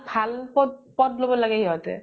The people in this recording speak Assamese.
ভাল প্দ পথ লʼব লাগে ইহঁতে